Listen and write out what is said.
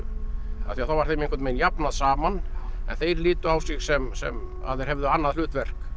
af því þá var þeim einhvern veginn jafnað saman en þeir litu á sig sem sem að þeir hefðu annað hlutverk